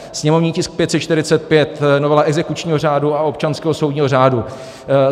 Sněmovní tisk 545 - novela exekučního řádu a občanského soudního řádu.